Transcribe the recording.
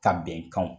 Ka bɛnkanw